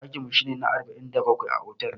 Daƙin mu shi ne na arba'in da bakwai a otal.